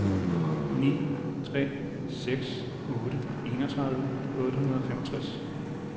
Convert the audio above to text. ni tre seks otte enogtredive otte hundrede og femogtres